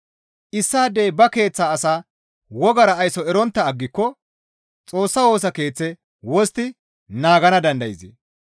Issaadey ba keeththa asaa wogara ayso erontta aggiko Xoossa Woosa Keeththe wostti naagana dandayzee?